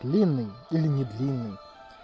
длинный или не длинный